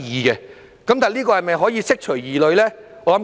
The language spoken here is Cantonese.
那這做法是否可以釋除疑慮呢？